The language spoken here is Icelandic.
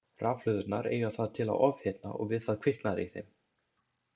Rafhlöðurnar eiga það til að ofhitna og við það kviknar í þeim.